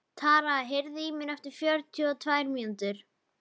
Tara, heyrðu í mér eftir fjörutíu og tvær mínútur.